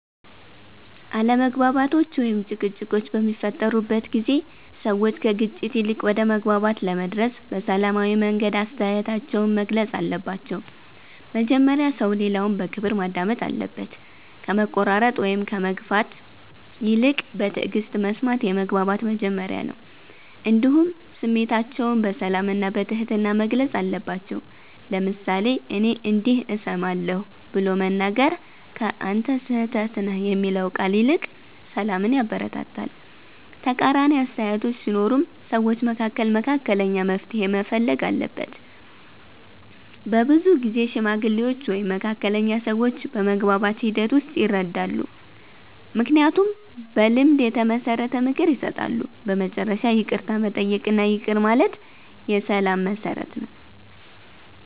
አለመግባባቶች ወይም ጭቅጭቆች በሚፈጠሩበት ጊዜ ሰዎች ከግጭት ይልቅ ወደ መግባባት ለመድረስ በሰላማዊ መንገድ አስተያየታቸውን መግለጽ አለባቸው። መጀመሪያ ሰው ሌላውን በክብር ማዳመጥ አለበት፣ ከመቆራረጥ ወይም ከመግፋት ይልቅ በትዕግስት መስማት የመግባባት መጀመሪያ ነው። እንዲሁም ስሜታቸውን በሰላም እና በትህትና መግለጽ አለባቸው፤ ለምሳሌ “እኔ እንዲህ እሰማለሁ” ብሎ መናገር ከ“አንተ ስህተት ነህ” የሚለው ቃል ይልቅ ሰላምን ያበረታታል። ተቃራኒ አስተያየቶች ሲኖሩም ሰዎች መካከል መካከለኛ መፍትሔ መፈለግ አለበት። በብዙ ጊዜ ሽማግሌዎች ወይም መካከለኛ ሰዎች በመግባባት ሂደት ውስጥ ይረዳሉ፣ ምክንያቱም በልምድ የተመሰረተ ምክር ይሰጣሉ። በመጨረሻ ይቅርታ መጠየቅ እና ይቅር ማለት የሰላም መሠረት ነው።